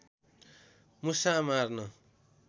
मुसा मार्न